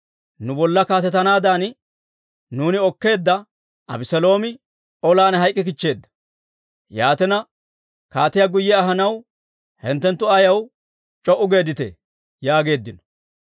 Nu bolla kaatetanaadan nuuni okkeedda Abeseeloomi olan hayk'k'ikichcheedda. Yaatina, kaatiyaa guyye ahanaw hinttenttu ayaw c'o"u geedditee?» yaageeddino.